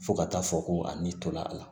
Fo ka taa fɔ ko a ni tola a la